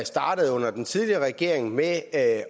startede under den tidligere regering med at